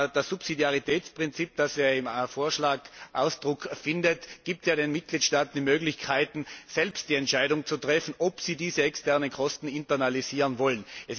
Das Subsidiaritätsprinzip, das im Vorschlag Ausdruck findet, gibt den Mitgliedstaaten die Möglichkeiten, selbst die Entscheidung zu treffen, ob sie diese externen Kosten internalisieren wollen.